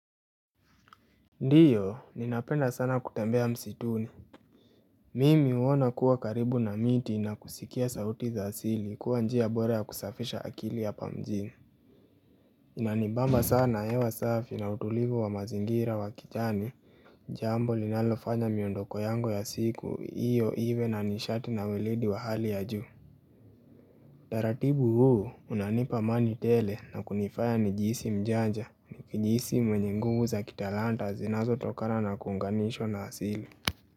Ndiyo, ninapenda sana kutembea msituni. Mimi huona kuwa karibu na miti na kusikia sauti za asili kuwa njia bora ya kusafisha akili ya hapa mjini. Inanibamba sana, hewa safi na utulivu wa mazingira wa kijani. Jambo linalofanya miondoko yangu ya siku, iyo iwe na nishati na weledi wa hali ya juu. Taratibu huu unanipa amani tele na kunifaya nijiisi mjanja, nijiisi mwenye nguvu za kitalanta zinazo tokana na kuunganishwa na asili.